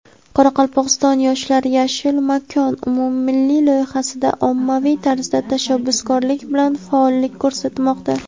Qoraqalpog‘istonlik yoshlar "Yashil makon" umummilliy loyihasida ommaviy tarzda tashabbuskorlik bilan faollik ko‘rsatmoqda.